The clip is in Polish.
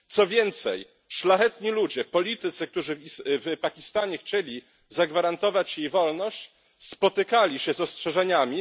Co więcej, szlachetni ludzie, politycy, którzy w Pakistanie chcieli zagwarantować jej wolność, spotykali się z ostrzeżeniami.